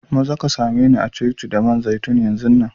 Maza ka same ni a'coci da man zaitun yanzun nan!